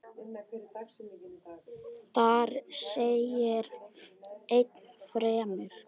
Þar segir enn fremur